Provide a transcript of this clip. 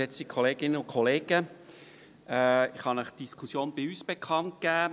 Ich kann Ihnen unsere Diskussion bekannt geben: